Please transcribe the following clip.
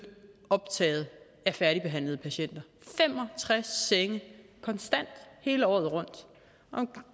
optaget af færdigbehandlede patienter fem og tres senge konstant hele året rundt